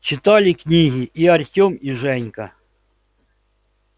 читали книги и артём и женька